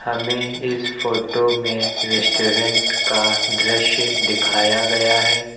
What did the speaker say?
हमें इस फोटो में रेस्टोरेंट का दृश्य दिखाया गया है।